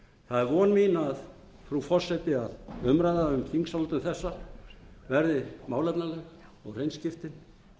það er von mín frú forseti að umræða um þingsályktun þessa verði málefnaleg og hreinskiptin